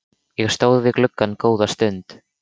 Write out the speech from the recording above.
Ég stóð við gluggann góða stund.